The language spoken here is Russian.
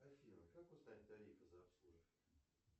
афина как узнать тарифы за обслуживание